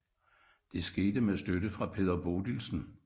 Det skete med støtte fra Peder Bodilsen